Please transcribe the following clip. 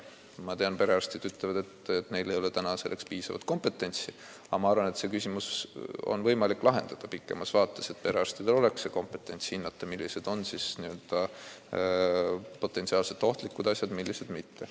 Ma tean, et perearstid ütlevad, et neil ei ole selleks kompetentsi, aga ma arvan, et selle küsimuse saab pikemas vaates lahendada, nii et perearstidki oskavad hinnata, millised on potentsiaalselt ohtlikud sünnimärgid ja millised mitte.